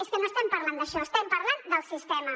és que no estem parlant d’això estem parlant del sistema